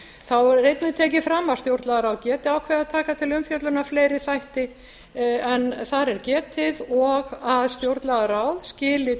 þá er einnig tekið fram að stjórnlagaráð geti ákveðið að taka til umfjöllunar fleiri þætti en þar er getið og að stjórnlagaráð skili